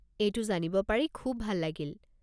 এইটো জানিব পাৰি খুব ভাল লাগিল।